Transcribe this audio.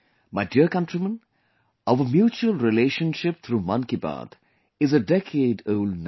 My dear countrymen, our mutual relationship through 'Mann Ki Baat' is a decade old now